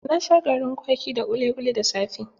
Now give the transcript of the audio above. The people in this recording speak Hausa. Na sha garin kwaki da kuli kuli da safe.